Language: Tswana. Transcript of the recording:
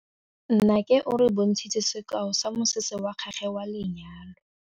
Nnake o re bontshitse sekaô sa mosese wa gagwe wa lenyalo.